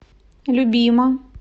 любима